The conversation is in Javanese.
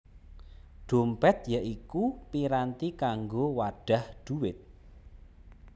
Dhompèt ya iku piranti kanggo wadhah dhuwit